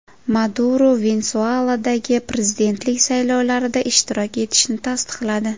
Maduro Venesueladagi prezidentlik saylovlarida ishtirok etishini tasdiqladi.